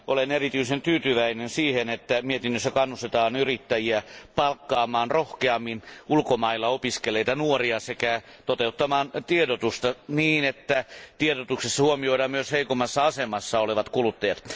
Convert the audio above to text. Olen erityisen tyytyväinen siihen, että mietinnössä kannustetaan yrittäjiä palkkaamaan rohkeammin ulkomailla opiskelleita nuoria sekä toteuttamaan tiedotusta niin, että tiedotuksessa huomioidaan myös heikommassa asemassa olevat kuluttajat.